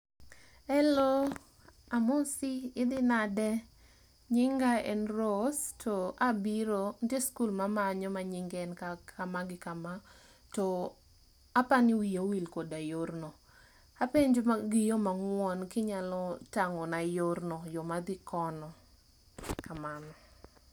Helo, amosi idhi nade? Nyinga en Rose to abiro, ntie skul mamanyo ma nyinge en kama gi kama. To apani wiya owil koda yorno. Apenjo gi yo mang'uon kinyalo tang'ona yorno, yo madhi kono. Kamano.